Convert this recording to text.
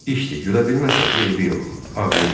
İşdir, gülə bilməsəz, eybi yox, ağlayın.